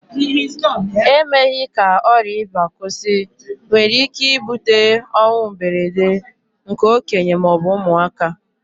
Emeghị ka ọrià ịba kwụsị nwere ike ibute ọnwụ mberede nke okenye ma ọ bụ ụmụaka